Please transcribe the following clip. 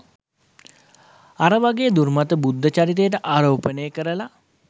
අර වගේ දුර්මත බුද්ධ චරිතයට ආරෝපණය කරලා